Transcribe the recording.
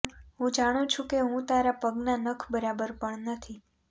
હું જાણું છું કે હું તારા પગના નખ બરાબર પણ નથી